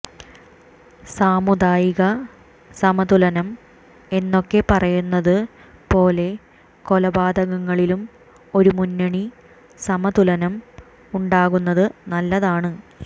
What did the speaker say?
സാമുദായിക സമതുലനം എന്നൊക്കെ പറയുന്നത് പോലെ കൊലപാതകങ്ങളിലും ഒരു മുന്നണി സമതുലനം ഉണ്ടാകുന്നത് നല്ലതാണ്